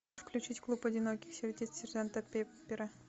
включить клуб одиноких сердец сержанта пеппера